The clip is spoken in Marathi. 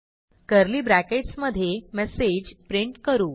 कर्ली ब्रॅकेट्स मधे मेसेज प्रिंट करू